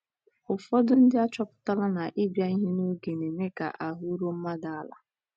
Ụfọdụ ndị achọpụtala na ịbịa ihe n’oge na - eme ka ahụ́ ruo mmadụ ala.